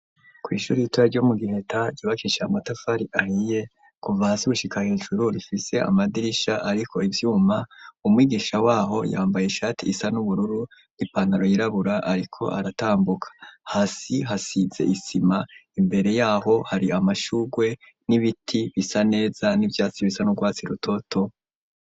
Kw'ishuri ritura ryo mu giheta ryubakisha amatafari ahiye kuva ahasi wushika hejuru rifise amadirisha, ariko ivyuma umwigisha waho yambaye ishati isa n'ubururu ripantaro yirabura, ariko aratambuka hasi hasize isima imbere yaho hari amashurwe n'ibiti bisa neza n'ivyoe bisa no gwatsi i rutoto.